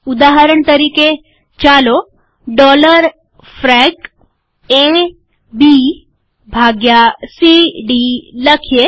ઉદાહરણ તરીકે ચાલો ડોલર ફ્રેક એ બી ભાગ્યા સી ડી લખીએ